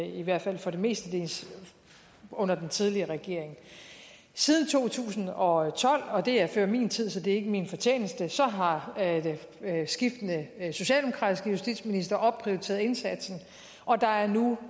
i hvert fald mestendels under den tidligere regering siden to tusind og tolv og det er før min tid så det er ikke min fortjeneste har skiftende socialdemokratiske justitsministre opprioriteret indsatsen og der er nu